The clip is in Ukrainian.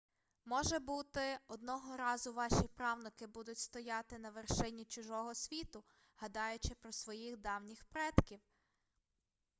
може бути одного разу ваші правнуки будуть стояти на вершині чужого світу гадаючи про своїх давніх предків